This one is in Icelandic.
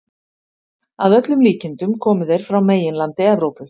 Að öllum líkindum komu þeir frá meginlandi Evrópu.